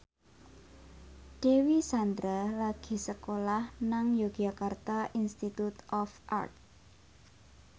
Dewi Sandra lagi sekolah nang Yogyakarta Institute of Art